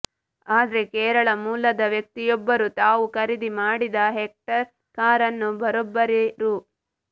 ಆದ್ರೆ ಕೇರಳ ಮೂಲದ ವ್ಯಕ್ತಿಯೊಬ್ಬರು ತಾವು ಖರೀದಿ ಮಾಡಿದ ಹೆಕ್ಟರ್ ಕಾರನ್ನು ಬರೋಬ್ಬರಿ ರೂ